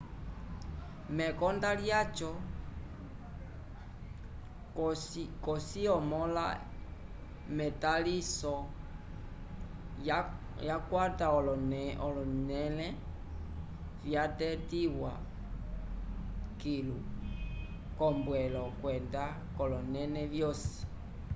mekonda lyaco cosi omõla k'etaliso yakwata olonẽle vyatetiwa kilu k'ombwelo kwenda k'olonẽle vyosi